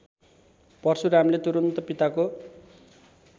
परशुरामले तुरन्त पिताको